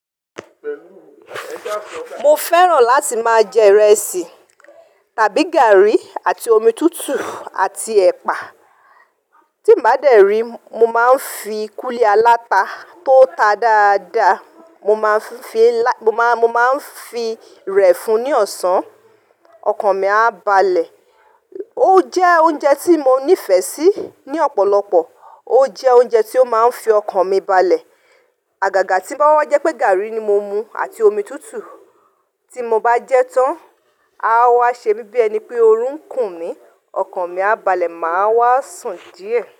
Mo fẹ́ràn láti máa jẹ ìrẹsì tàbí gààrí àti omi tútù àti ẹ̀pà. Tí mo bá dẹ̀rí, mo máa ń fi kúlí alata tó ta dáadáa, mo máa ń fi rẹ̀ fún ní ọ̀sán, ọkàn mi á balẹ̀. Ó jẹ́ oúnjẹ tí mo nífẹ̀ẹ́ sí ní ọ̀pọ̀lọpọ̀, ó jẹ́ oúnjẹ tí ó máa ń fi ọkàn mi balẹ̀. Àgàgà tí ń bá wá jẹ́ pé, gààrí ni mo mú àti omi tútù, tí mo bá jẹ tán, a wá ṣe mí bí ẹni pé oorun ń kùn mí, ọkàn mi á balẹ̀, màá wá sùn díẹ̀